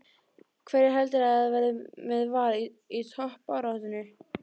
Hverjir heldurðu að verði með Val í toppbaráttunni?